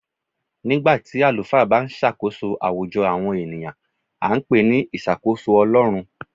Nígbà tí àlùfáà bá ń ṣàkóso àwùjọ àwọn ènìyàn, a ń pè ní ìṣàkóso Ọlọrun.